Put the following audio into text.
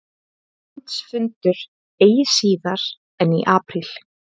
Landsfundur eigi síðar en í apríl